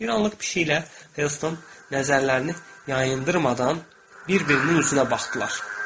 Bir anlıq pişiklə Helston nəzərlərini yayındırmadan bir-birinin üzünə baxdılar.